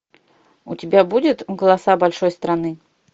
у тебя будет голоса большой страны